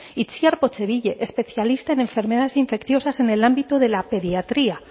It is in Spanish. itziar especialista en enfermedades infecciosas en el ámbito de la pediatría